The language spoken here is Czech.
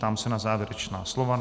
Ptám se na závěrečná slova.